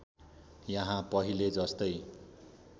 यहाँ पहिले जस्तै